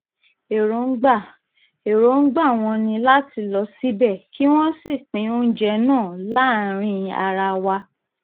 èròǹgbà èròǹgbà wọn ni láti lọ síbẹ̀ kí wọ́n sì pín oúnjẹ náà láàrin ara wa